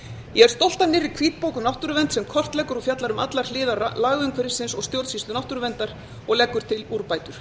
gott mér við hvítbók um náttúruvernd sem kortleggur og fjallar um allar hliðar lagaumhverfisins og stjórnsýslu náttúruverndar og leggur til úrbætur